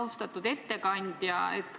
Austatud ettekandja!